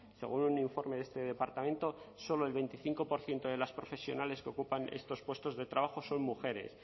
según un informe de este departamento solo el veinticinco por ciento de las profesionales que ocupan estos puestos de trabajo son mujeres